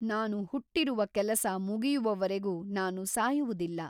ನಾನು ಹುಟ್ಟಿರುವ ಕೆಲಸ ಮುಗಿಯುವವರೆಗೂ ನಾನು ಸಾಯುವುದಿಲ್ಲ.